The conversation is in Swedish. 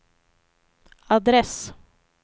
adress